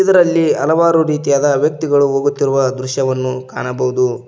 ಇದರಲ್ಲಿ ಹಲವಾರು ರೀತಿಯಾದ ವ್ಯಕ್ತಿಗಳು ಹೋಗುತ್ತಿರುವ ದೃಶ್ಯವನ್ನು ಕಾಣಬಹುದು.